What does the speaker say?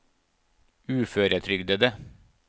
uføretrygdede